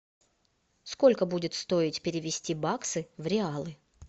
сколько будет стоить перевести баксы в реалы